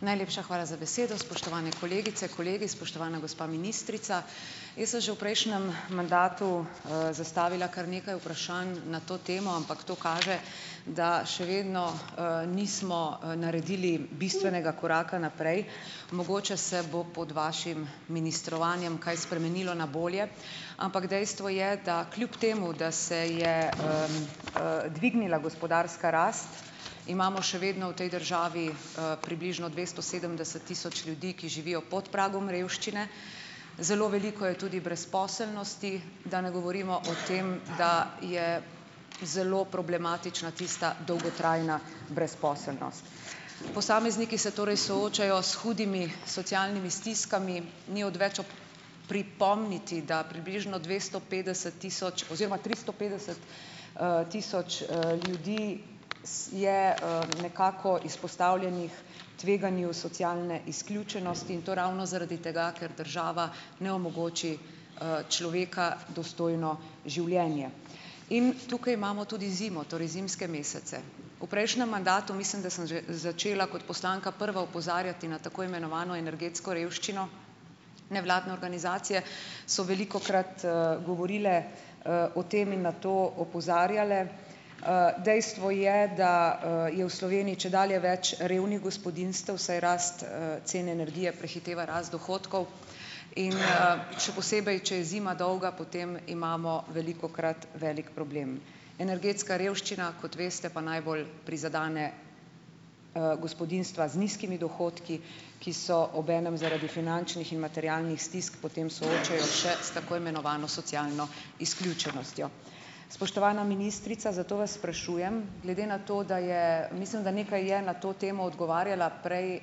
Najlepša hvala za besedo. Spoštovane kolegice, kolegi, spoštovana gospa ministrica. Jaz sem že v prejšnjem mandatu, zastavila kar nekaj vprašanj na to temo, ampak to kaže, da še vedno, nismo, naredili bistvenega koraka naprej. Mogoče se bo pod vašim ministrovanjem kaj spremenilo na bolje. Ampak dejstvo je, da kljub temu, da se je, dvignila gospodarska rast, imamo še vedno v tej državi, približno dvesto sedemdeset tisoč ljudi, ki živijo pod pragom revščine. Zelo veliko je tudi brezposelnosti, da ne govorimo o tem, da je zelo problematična tista dolgotrajna brezposelnost. Posamezniki se torej soočajo s hudimi socialnimi stiskami. Ni odveč pripomniti, da približno dvesto petdeset tisoč oziroma tristo petdeset, tisoč, ljudi je, nekako izpostavljenih tveganju socialne izključenosti in to ravno zaradi tega, ker država ne omogoči, človeka dostojno življenje. In tukaj imamo tudi zimo. Torej zimske mesece. V prejšnjem mandatu, mislim, da sem že začela kot poslanka prva opozarjati na tako imenovano energetsko revščino, nevladne organizacije so velikokrat, govorile, o tem in na to opozarjale. Dejstvo je, da, je v Sloveniji čedalje več revnih gospodinjstev, saj rast, cen energije prehiteva rast dohodkov. In, še posebej, če je zima dolga, potem imamo velikokrat velik problem. Energetska revščina, kot veste, pa najbolj prizadene, gospodinjstva z nizkimi dohodki, ki so obenem zaradi finančnih in materialnih stisk potem soočajo še s tako imenovano socialno izključenostjo. Spoštovana ministrica, zato vas sprašujem - glede na to, da je, mislim, da nekaj je na to temo odgovarjala prej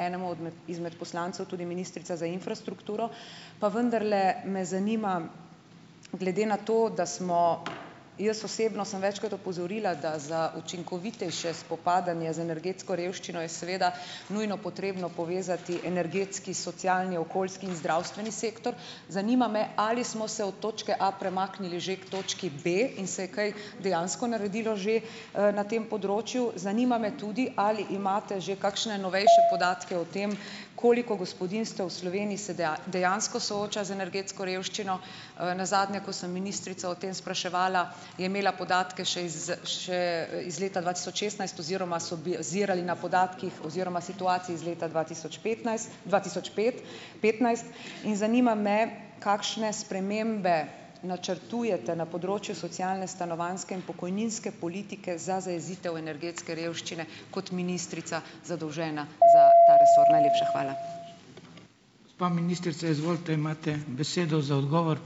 enemu idmet izmed poslancev tudi ministrica za infrastrukturo - pa vendarle, me zanima. Glede na to, da smo - jaz osebno sem večkrat opozorila, da za učinkovitejše spopadanje z energetsko revščino je seveda nujno potrebno povezati energetski, socialni, okoljski in zdravstveni sektor. Zanima me, ali smo se od točke A premaknili že k točki B in se je kaj dejansko naredilo že, na tem področju. Zanima me tudi, ali imate že kakšne novejše podatke o tem, koliko gospodinjstev v Sloveniji se dejansko sooča z energetsko revščino. Nazadnje, ko sem ministrico o tem spraševala, je imela podatke še iz še, iz leta dva tisoč šestnajst oziroma so bazirali na podatkih oziroma situaciji iz leta dva tisoč petnajst. Dva tisoč pet petnajst. In zanima me, kakšne spremembe načrtujete na področju socialne, stanovanjske in pokojninske politike za zajezitev energetske revščine kot ministrica, zadolžena za ta resor. Najlepša hvala.